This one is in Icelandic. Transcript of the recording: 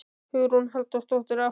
Hugrún Halldórsdóttir: Af hverju?